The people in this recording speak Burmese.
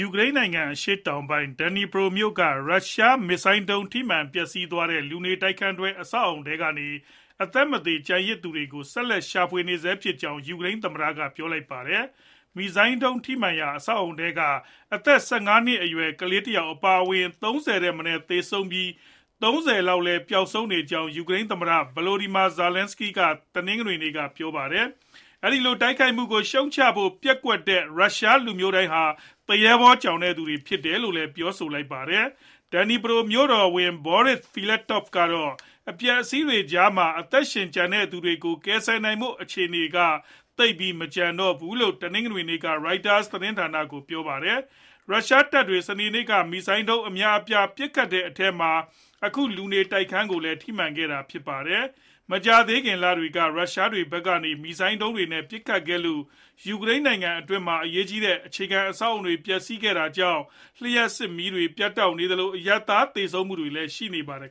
ူကရိန်းနိုင်ငံ အရှေ့တောင်ပိုင်း Dnipro မြို့က ရုရှားမစ်ဇိုင်းဒုံး ထိမှန်ပျက်စီးသွားတဲ့ လူနေတိုက်ခန်းတွဲ အဆောက်အဦထဲက အသက်မသေ ကျန်သူတွေကို ဆက်လက်ရှာဖွေနေဆဲဖြစ်ကြောင်း ယူကရိန်းသမ္မတက ပြောလိုက်ပါတယ်။ မစ်ဇိုင်းဒုံး ထိမှန်ရာက အဆောက်အဦထဲမှာ အသက် ၁၅ နှစ်အရွယ် ကလေးတယောက် အပါအဝင် ၃၀ ထက်မနည်း သေဆုံးပြီး၊ ၃၀ လောက် ပျောက်ဆုံးနေကြောင်း ယူကရိန်း သမ္မတ Volodymyr Zelenskiy က တနင်္ဂနွေနေ့က ပြောပါတယ်။ အဲဒီလို တိုက်ခိုက်မှုကို ရှုတ်ချဖို့ ပျက်ကွက်တဲ့ ရုရှားလူမျိုးတိုင်းဟာ သူရဲဘောကြောင်သူတွေ သာဖြစ်တယ်လို့လည်း ပြောဆိုလိုက်ပါတယ်။ Dnipro မြို့တော်ဝန် Borys Filatov ကတော့ အပျက်အစီးတွေကြားမှာ အသက်ရှင်ကျန်ခဲ့သူတွေကို ကယ်ဆယ်နိုင်ဖို့ အခြေအနေက သိပ်မရှိတော့ဘူးလို့ တနင်္ဂနွေနေ့က Reuteurs သတင်းဌာနကို ပြောပါတယ်။ ရုရှားတပ်တွေ စနေနေ့က မစ်ဇိုင်းဒုံး အများအပြား ပစ်ခတ်ခဲ့တဲ့အထဲမှာ အခုလူနေထိုက်ခန်းကိုလည်း ထိမှန်ခဲ့တာပါ။ မကြာသေးခင် လတွေက ရုရှားဖက်ကနေ မစ်ဇိုင်းဒုံးတွေနဲ့ ပစ်ခတ်ခဲ့လို့ ယူကရိန်းနိုင်ငံအတွင်းမှာ အရေးကြီးတဲ့ အခြေခံ အဆောက်အဦတွေ ပျက်စီးခဲ့ရတာကြောင့် လျှပ်စစ်မီးတွေ ပြတ်တောက်နေသလို၊ အရပ်သားသေဆုံးမှုတွေလည်း ရှိနေပါတယ်